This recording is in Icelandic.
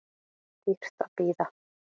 Dýrt að bíða